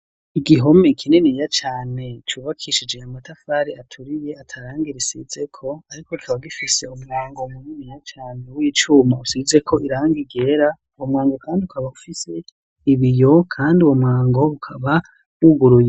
Igihome ikininiya cyane cubakishije amatafari aturiye atarangirisize ko ariko tkaba gifise umwango muniniya cyane w'icuma usize ko iranga igera uwo mhango kandi ukaba ufise ibiyo kandi uwo mhango ukaba wuguruye.